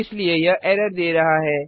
इसलिए यह एरर दे रहा है